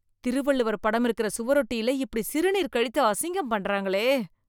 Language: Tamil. திருவள்ளுவர் படம் இருக்கிற சுவரொட்டியில இப்படி சிறுநீர் கழித்து அசிங்கம் பண்றாங்களே